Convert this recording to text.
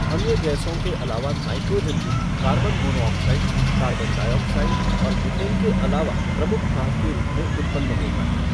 अन्य गैसों के अलावा नाइट्रोजन भी कार्बन मोनोऑक्साइड, कार्बन डाइऑक्साइड और मीथेन के अलावा प्रमुख भाग के रूप में उत्पन्न होता है।